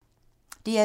DR2